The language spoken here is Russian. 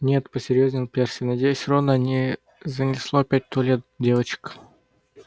нет посерьёзнел перси надеюсь рона не занесло опять в туалет девочек